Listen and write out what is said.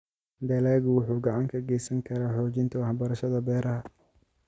Dalaggu wuxuu gacan ka geysan karaa xoojinta waxbarashada beeraha.